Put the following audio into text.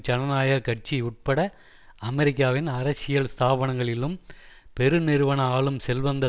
ஜனநாயக கட்சி உட்பட அமெரிக்காவின் அரசியல் ஸ்தாபனங்களிலும் பெருநிறுவன ஆளும் செல்வந்த